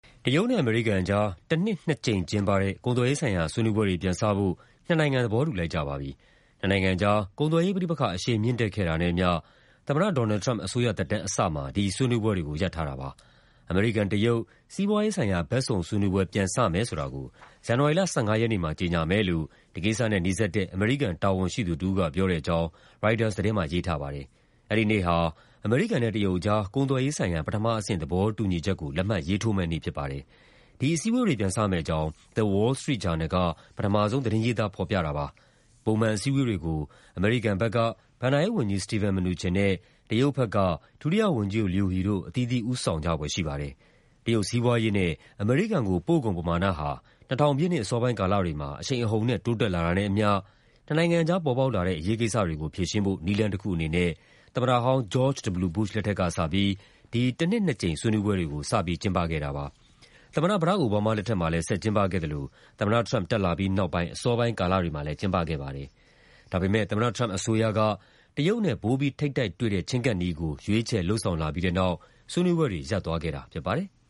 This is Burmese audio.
တရုတ်နဲ့ အမေရိကန်အကြား တနှစ် နှစ်ကြိမ် ကျင်းပတဲ့ ကုန်သွယ်ရေးဆိုင်ရာ ဆွေးနွေးပွဲတွေ ပြန်စဖို့ နှစ်နိုင်ငံ သဘောတူလိုက်ကြပါပြီ။ နှစ်နိုင်ငံကြား ကုန်သွယ်ရေးပဋိပက္ခ အရှိန်မြင့်တက်ခဲ့တာနဲ့အမျှ သမ္မတ Donald Trump အစိုးရသက်တမ်းအစမှာ ဒီဆွေးနွေးပွဲတွေကို ရပ်ထားတာပါ။ အမေရိကန်-တရုတ် စီးပွားရေးဆိုင်ရာ ဘက်စုံဆွေးနွေးပွဲ ပြန်စမယ်ဆိုတာကို ဇန်နဝါရီလ ၁၅ ရက်နေ့မှာ ကြေညာမယ်လို့ ဒီကိစ္စနဲ့နီးစပ်တဲ့ အမေရိကန် တာဝန်ရှိသူတဦးက ပြောတဲ့အကြောင်း ရိုက်တာသတင်းမှာ ရေးထားပါတယ်။ အဲဒီနေ့ဟာ အမေရိကန်နဲ့ တရုတ်ကြား ကုန်သွယ်ရေးဆိုင်ရာ ပထမအဆင့် သဘောတူညီချက်ကို လက်မှတ်ရေးထိုးမယ့်နေ့ ဖြစ်ပါတယ်။ ဒီအစည်းအဝေးတွေ ပြန်စမယ့်အကြောင်း The Wall Street ဂျာနယ်က ပထမဆုံး သတင်းရေးသား ဖော်ပြခဲ့တာပါ။ ပုံမှန် အစည်းအဝေးတွေကို အမေရိကန်ဘက်က ဘဏ္ဍာရေးဝန်ကြီး Steven Mnuchin နဲ့ တရုတ်ဘက်က ဒုတိယဝန်ကြီးချုပ် Liu He တို့ အသီးသီး ဦးဆောင်ကြဖွယ် ရှိပါတယ်။ တရုတ်စီးပွားရေးနဲ့ အမေရိကန်ကို ပို့ကုန်ပမာဏဟာ ၂၀၀၀ ပြည့်နှစ် အစောပိုင်းကာလတွေမှာ အရှိန်အဟုန်နဲ့ တိုးတက်လာတာနဲ့အမျှ နှစ်နိုင်ငံကြား ပေါ်ပေါက်လာတဲ့ အရေးကိစ္စတွေကို ဖြေရှင်းဖို့ နည်းလမ်းတခုအနေနဲ့ သမ္မတဟောင်း George W. Bush လက်ထက်ကစပြီး ဒီ တနှစ် နှစ်ကြိမ် ဆွေးနွေးပွဲတွေကို စပြီး ကျင်းပခဲ့တာပါ။ သမ္မတ Barack Obama လက်ထက်မှာလည်း ဆက်ကျင်းပခဲ့သလို သမ္မတ Trump တက်လာပြီးနောက်ပိုင်း အစောပိုင်းကာလတွေမှာလည်း ကျင်းပခဲ့ပါတယ်။ ဒါပေမယ့် သမ္မတ Trump အစိုးရက တရုတ်နဲ့ ပိုပြီးထိပ်တိုက်တွေ့တဲ့ ချဉ်းကပ်နည်းကို ရွေးချယ် လုပ်ဆောင်လာပြီးတဲ့နောက် ဆွေးနွေးပွဲတွေ ရပ်သွားခဲ့တာ ဖြစ်ပါတယ်။